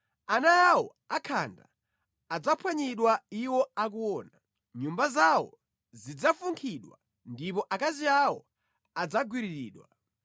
Ana awo akhanda adzaphwanyidwa iwo akuona; nyumba zawo zidzafunkhidwa ndipo akazi awo adzagwiriridwa.